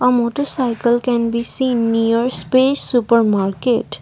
motarcycle can be seen near space supermarket.